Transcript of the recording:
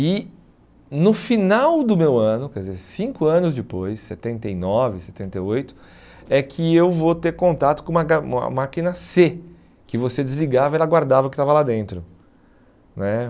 E no final do meu ano, quer dizer, cinco anos depois, setenta e nove, setenta e oito, é que eu vou ter contato com uma uma máquina cê, que você desligava e ela guardava o que estava lá dentro né.